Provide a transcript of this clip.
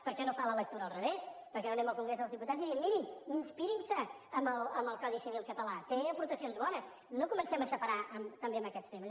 per què no fa la lectura la revés per què no anem al congrés dels diputats i diem mirin inspirin se en el codi civil català té aportacions bones no comencem a separar també amb aquests temes